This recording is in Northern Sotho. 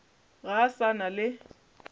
ga a sa na le